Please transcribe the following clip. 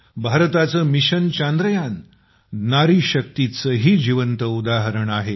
भारताचं मिशन चांद्रयान नारीशक्तीचं ही जिवंत उदाहरण आहे